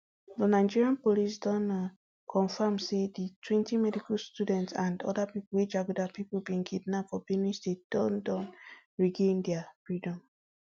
di nigeria police don um confam say di twenty medical students and oda pipo wey jaguda pipo bin kidnap for benue state don don regain dia freedom